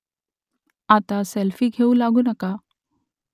आता सेल्फी घेऊ लागू नका